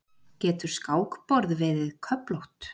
Getur skákborð verið köflótt?